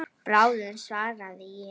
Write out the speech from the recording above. Bráðum svaraði ég.